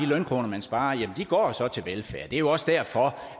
lønkroner man sparer går så til velfærd det er jo også derfor